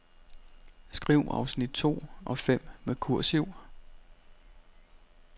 Skriv afsnit to og fem med kursiv.